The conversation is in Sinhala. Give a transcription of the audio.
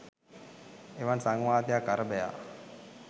එවන් සංවාදයක් අරභයා